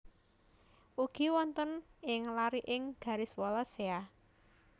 Ugi wonten ing lariking garis Wallacea